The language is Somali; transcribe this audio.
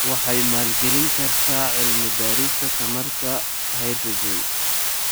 Waxay maalgelin kartaa cilmi-baarista tamarta hydrogen.